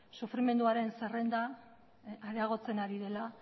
sufrimenduaren zerrenda areagotzen ari dela